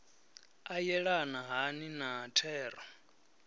a yelana hani na thero